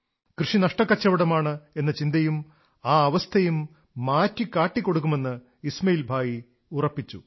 കൃഷി നഷ്ടക്കച്ചവടമാണ് എന്ന ചിന്തയും ആ അവസ്ഥയും മാറ്റി കാട്ടിക്കൊടുക്കുമെന്ന് ഇസ്മാഇൽ ഭായി ചിന്തിച്ചു